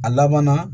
A laban na